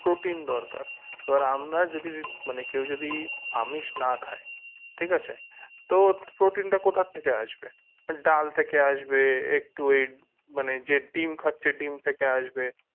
protein দরকার এবার আমরা যদি মানে কেউ যদি আমিষ না খায় ঠিক আছে তো protein টা কোথা থেকে আসবে তাহলে ডাল থেকে আসবে একটু মানে যে ডিম খাচ্ছে ডিম থেকে আসবে